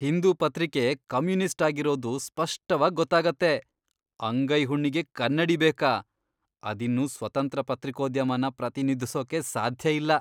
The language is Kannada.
ಹಿಂದೂ ಪತ್ರಿಕೆ ಕಮ್ಯುನಿಸ್ಟ್ ಆಗಿರೋದು ಸ್ಪಷ್ಟವಾಗ್ ಗೊತ್ತಾಗತ್ತೆ, ಅಂಗೈ ಹುಣ್ಣಿಗೆ ಕನ್ನಡಿ ಬೇಕಾ? ಅದಿನ್ನು ಸ್ವತಂತ್ರ ಪತ್ರಿಕೋದ್ಯಮನ ಪ್ರತಿನಿಧಿಸೋಕೆ ಸಾಧ್ಯ ಇಲ್ಲ.